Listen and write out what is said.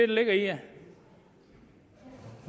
det